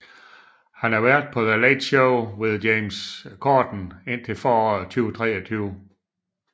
Han er vært på The Late Late Show with James Corden indtil foråret 2023